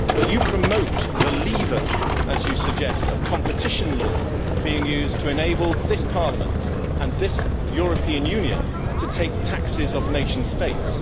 But you promote the lever, as you suggest, of competition law being used to enable this Parliament and this European Union to take taxes off nation states.